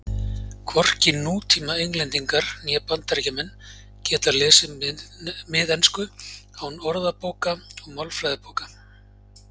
Hvorki nútíma Englendingar né Bandaríkjamenn geta lesið miðensku án orðabóka og málfræðibóka.